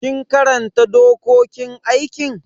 Kin karanta dokokin aikin?